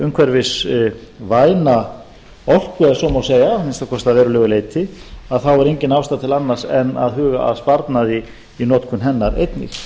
umhverfisvæna orku ef svo má segja að minnsta kosti að verulegu leyti þá er engin ástæða til annars en að huga að sparnaði í notkun hennar einnig